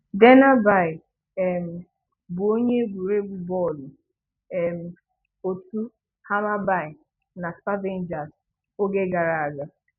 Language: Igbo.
Dennerby um bụ onye egwuregwu bọọlụ um òtù Hammarby na Sparvagens oge gara aga.